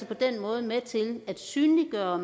på den måde med til at synliggøre og